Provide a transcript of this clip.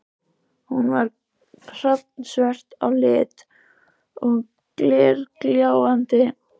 Hún er hrafnsvört á lit og glergljáandi.